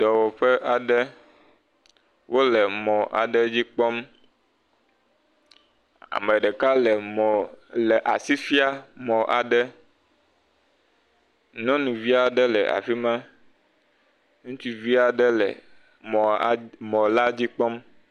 Dɔwɔƒe aɖe, wole mɔ aɖe dzi kpɔm. Ame ɖeka le mɔ asi fiam mɔ aɖe. Nyɔnuvi aɖe le afi ma, ŋutsuvi aɖe le mɔ a mɔ la dzi kpɔm.